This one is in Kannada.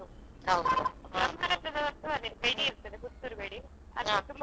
ಹಾ ಬ್ರಹ್ಮರಥ ಉಂಟು ಬ್ರಹ್ಮರಥ ದಿವಸ ಬೇಡಿ ಇರ್ತದೆ Puttur ಬೇಡಿ ಅದು ತುಂಬಾ famous actually.